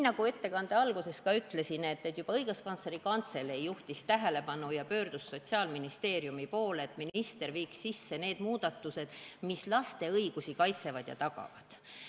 Nagu ma ettekande alguses ütlesin, juhtis juba Õiguskantsleri Kantselei sellele tähelepanu ja pöördus Sotsiaalministeeriumi poole, et minister viiks sisse need muudatused, mis kaitsevad ja tagavad laste õigusi.